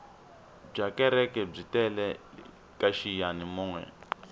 byakereke byi tele kaxiyani moya